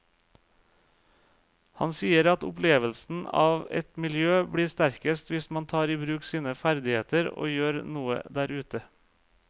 Han sier at opplevelsen av et miljø blir sterkest hvis man tar i bruk sine ferdigheter og gjør noe der ute.